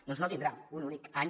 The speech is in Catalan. doncs no tindrà un únic any